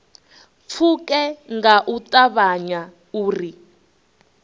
pfuke nga u ṱavhanya uri